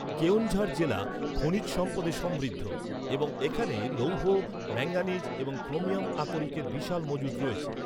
কেওনঝাড় জেলা খনিজ সম্পদে সমৃদ্ধ এবং এখানে লৌহ, ম্যাঙ্গানিজ এবং ক্রোমিয়াম আকরিকের বিশাল মজুত রয়েছে।